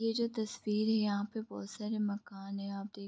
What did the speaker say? ये जो तस्वीर है यहाँ पे बहोत सारे मकान हैं आप देख --